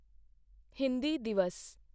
Hindi Divas